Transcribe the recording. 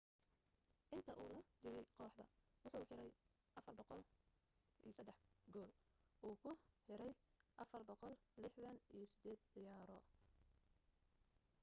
inta u la jiray kooxda wuxuu xiray 403 gool uu ku xiray 468 ciyaaro